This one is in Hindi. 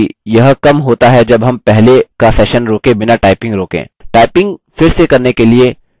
स्मरण हो कि यह कम होता है जब हम पहले का session रोके बिना typing रोकें